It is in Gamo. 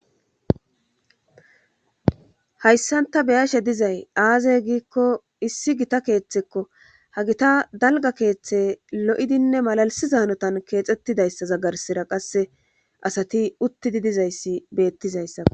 hayssanta beyashe dizay aazey giikko issi gita keeththekko ha gita dalga keeththe lo7idinne malalisi zaanotan keexxettidayssa zaggarsira qasse asati uttidi dizayssi beettizayssa